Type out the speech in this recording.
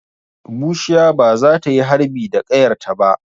Bushiya ba za ta yi harbi da ƙayarta ba.